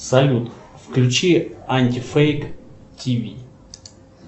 салют включи анти фейк тими